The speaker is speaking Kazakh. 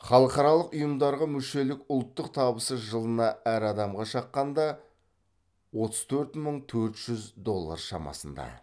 халықаралық ұйымдарға мүшелік ұлттық табысы жылына әр адамға шаққанда отыз төрт мың төрт жүз доллар шамасында